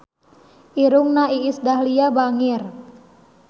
Irungna Iis Dahlia bangir